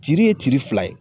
Tiiri ye tiiri fila ye.